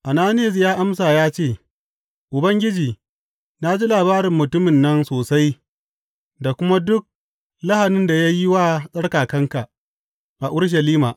Ananiyas ya amsa ya ce, Ubangiji, na ji labarin mutumin nan sosai da kuma duk lahanin da ya yi wa tsarkakanka a Urushalima.